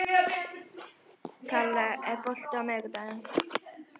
Kalla, er bolti á miðvikudaginn?